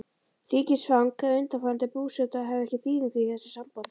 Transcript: Ríkisfang eða undanfarandi búseta hafa ekki þýðingu í þessu sambandi.